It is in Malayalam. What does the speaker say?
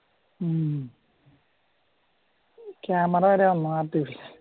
ഉം ക്യാമറ വരെ വന്നു ആർട്ടിഫിഷ്യല്